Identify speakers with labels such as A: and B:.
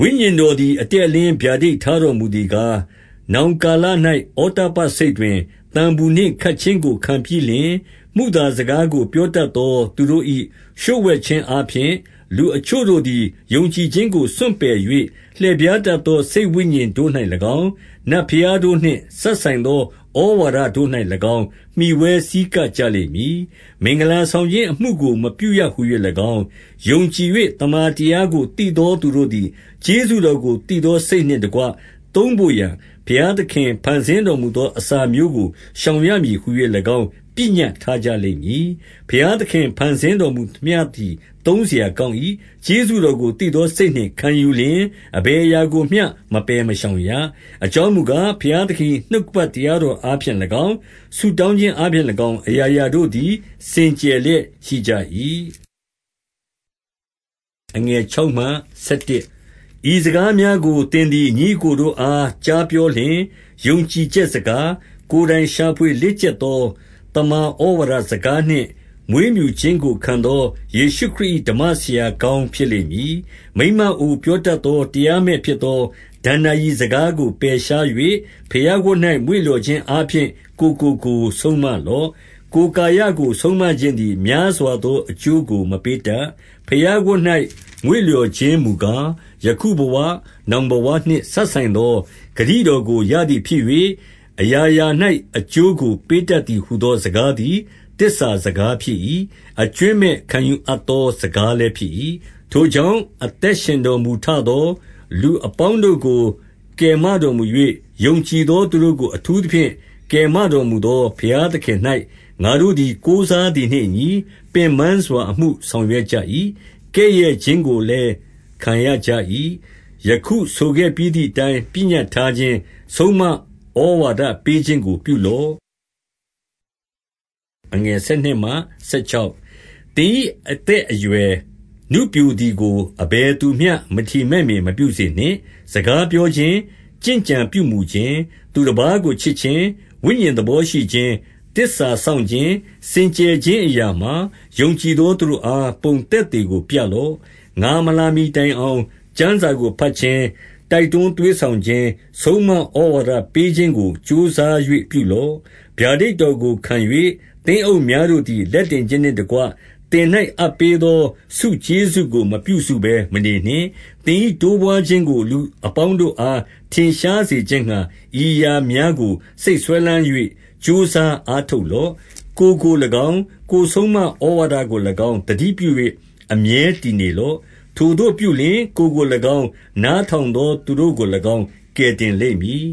A: ဝိညာဉ်တော်သည် အတည့်အလင်းဗျာဒိတ်ထားတော်မူသည်ကား၊ နောင်ကာလ၌ ဩတ္တပ္ပစိတ်တွင် သံပူနှင့်ခတ်ခြင်းကိုခံပြီးလျှင်၊ မုသာစကားကို ပြောတတ်သော သူတို့၏ လျှို့ဝှက်ခြင်းအားဖြင့်၊ လူအချို့တို့သည် ယုံကြည်ခြင်းကို စွန့်ပယ်၍၊ 2 လှည့်ဖြားတတ်သော စိတ်ဝိညာဉ်တို့၌၎င်း၊ နတ်ဘုရားတို့နှင့်စပ်ဆိုင်သော ဩဝါဒ တို့၌၎င်း မှီဝဲဆည်းကပ်ကြလိမ့်မည်။ 3 မင်္ဂလာဆောင်ခြင်းအမှုကို မပြုရဟူ၍၎င်း၊ ယုံကြည်၍ သမ္မာတရားကို သိသောသူတို့သည် ကျေးဇူး တော်ကို သိသောစိတ်နှင့်တကွ သုံးဘို့ရာ၊ ဘုရားသခင် ဖန်ဆင်းတော်မူသော အစာမျိုးကိုရှောင်ရမည် ဟူ၍၎င်း ပညတ်ထားကြလိမ့်မည်။ 4 ဘုရားသခင်ဖန်ဆင်းတော်မူသမျှသည် သုံးစရာကောင်း၏။ 5 ကျေးဇူးတော်ကို သိသောစိတ်နှင့်ခံယူလျှင်၊ အဘယ်အရာကိုမျှ မပယ်မရှောင်ရ။ အကြောင်းမူကား၊ ဘုရားသခင်၏ နှုတ်ကပတ်တရားတော်အားဖြင့်၎င်း၊ ဆုတောင်းခြင်းအားဖြင့်၎င်း၊ အရာရာတို့သည် စင်ကြယ် လျက်ရှိကြ၏။ 6 ဤစကားများကို သင်သည် ညီအစ်ကိုတို့အား ကြားပြောလျှင်၊ ယုံကြည်ချက်စကား၊ ကိုယ်တိုင် ရှာဖွေလေ့ကျက်သော သမ္မာဩဝါဒစကားနှင့် မွေးပြုခြင်းကို ခံသောယေရှုခရစ်၏ ဓမ္မဆရာကောင်း ဖြစ်လိမ့်မည်။ 7 မိန်းမအိုပြောတတ်သော တရားမဲ့ဖြစ်သော ဒဏ္ဍာရီစကားကို ပယ်ရှား၍ ဘုရားဝတ်၌ မွေ့လျော်ခြင်း အားဖြင့် ကိုယ်ကိုကိုယ်ဆုံးမလော့။ 8 ကိုယ်ကာယကိုဆုံးမခြင်းသည် များစွာသော အကျိုးကို မပေးတတ်။ ဘုရားဝတ်၌ မွေ့လျော်ခြင်း မူကား၊ ယခုဘဝ၊ နောင်ဘဝနှင့် စပ်ဆိုင်သော ဂတိတော်ကို ရသည်ဖြစ်၍၊ 9 အရာရာ၌ အကျိုးကိုပေးတတ်သည်ဟူသော စကားသည် သစ္စာစကားဖြစ်၏။ အကြွင်းမဲ့ခံယူအပ် သော စကားလည်းဖြစ်၏။ 10 ထိုကြောင့်၊ အသက်ရှင်တော်မူထသော၊ လူအပေါင်းတို့ကို အထူးသဖြင့် ကယ်မတော်မူသော ဘုရား သခင်၌ ငါတို့သည်ကိုးစားသည်နှင့်အညီ၊ ပင်ပန်းစွာ အမှုဆောင်ရွက်ကြ၏။ ကဲ့ရဲ့ခြင်းကိုလည်း ခံရကြ၏။ 11 ယခုဆိုခဲ့ပြီးသည်အတိုင်း ပညတ်ထားခြင်း၊ ဆုံးမဩဝါဒပေးခြင်းကို ပြုလော့။ 12 သင်၏ အသက်အရွယ်နုပျိုသည်ကို အဘယ်သူမျှ မထီမဲ့မြင် မပြုစေနှင့်။ စကားပြောခြင်း၊ ကျင့်ကြံပြုမူ ခြင်း၊ သူတပါးကိုချစ်ခြင်း၊ ဝိညာဉ်သဘောရှိခြင်း၊ သစ္စာစောင့်ခြင်း၊ စင်ကြယ်ခြင်းအရာမှာ၊ ယုံကြည်သောသူတို့အား ပုံသက်သေကို ပြလော့။ 13 ငါမလာမှီတိုင်အောင်၊ ကျမ်းစာကိုဘတ်ခြင်း၊ တိုက်တွန်းသွေးဆောင်ခြင်း၊ ဆုံးမဩဝါဒပေးခြင်းကို ကြိုးစား၍ ပြုလော့။ 14 ဗျာဒိတ်တော်ကို ခံ၍၊ သင်းအုပ်များတို့သည် လက်တင်ခြင်းနှင့်တကွ၊ သင်၌အပ်ပေးသော ဆုကျေးဇူး ကို မပြုစုဘဲမနေနှင့်။ 15 သင်၏တိုးပွါးခြင်းကို လူအပေါင်းတို့အား ထင်ရှားစေခြင်းငှါ။ ဤအရာများကို စိတ်စွဲလမ်း၍ ကြိုးစားအားထုတ်လော့။ 16 ကိုယ်ကို၎င်း၊ ကိုယ်ဆုံးမဩဝါဒကို၎င်း သတိပြု၍ အမြဲတည်နေလော့။ ထိုသို့ပြုလျှင်၊ ကိုယ်ကို၎င်း၊ နားထောင်သောသူတို့ကို၎င်းကယ်တင်လိမ့်မည်